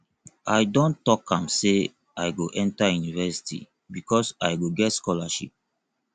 i don tok am sey i go enta university because i go get scholarship